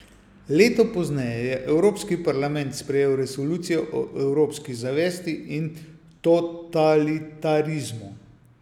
Leto pozneje je evropski parlament sprejel resolucijo o evropski zavesti in totalitarizmu.